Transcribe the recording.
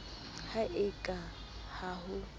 ha e ka ha ho